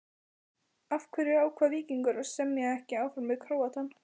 Af hverju ákvað Víkingur að semja ekki áfram við Króatann?